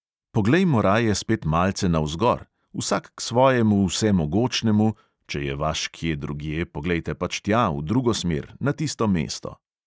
Poglejmo raje spet malce navzgor, vsak k svojemu vsemogočnemu, če je vaš kje drugje, poglejte pač tja, v drugo smer, na tisto mesto.